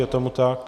Je tomu tak?